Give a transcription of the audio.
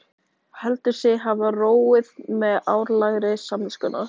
Heldur sig hafa róið með áralagi samviskunnar.